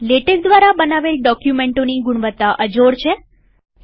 LaTeX દ્વારા બનાવેલ ડોકયુમેન્ટોની ગુણવત્તા અજોડઅન્મેચ્ડ છે